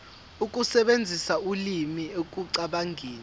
ukusebenzisa ulimi ekucabangeni